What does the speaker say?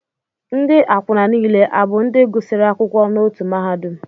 Ndị akwụna niile a bụ ndị gụsịrị akwụkwọ n'otu mahadum?